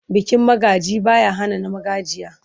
Bikin magaji ba ya hana na magajiya.